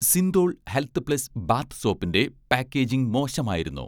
Cinthol health plus' bath സോപ്പിന്‍റെ packaging മോശമായിരുന്നു